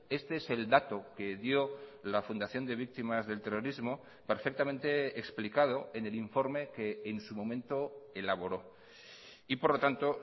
este es el dato que dio la fundación de víctimas del terrorismo perfectamente explicado en el informe que en su momento elaboró y por lo tanto